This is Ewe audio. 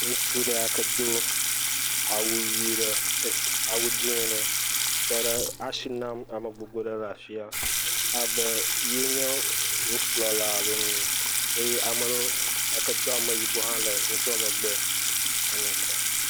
Ŋutsu ɖe yake do awu ɖe e awu dzi ɖe tɔ ɖe asi nam ame gbogbo ɖe le afi ya. abe ye nye wokplɔla alo n eye ame yake do ame yibɔ hã le ŋutsua megbe …